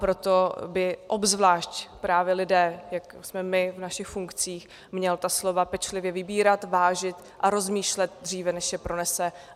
Proto by obzvlášť právě lidé, jako jsme my v naších funkcích, měli ta slova pečlivě vybírat, vážit a rozmýšlet dříve, než je pronesou.